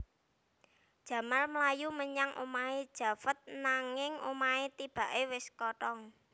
Jamal mlayu menyang omahé Javed nanging omahé tibaké wis kothong